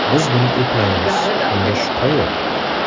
Biz buni eplaymiz, bunga shubha yo‘q.